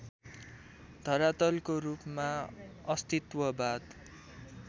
धरातलको रूपमा अस्तित्ववाद